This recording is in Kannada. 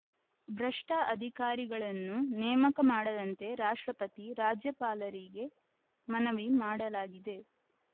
ಭ್ರಷ್ಟಅಧಿಕಾರಿಗಳನ್ನು ನೇಮಕ ಮಾಡದಂತೆ ರಾಷ್ಟ್ರಪತಿ ರಾಜ್ಯಪಾಲರಿಗೆ ಮನವಿ ಮಾಡಲಾಗಿದೆ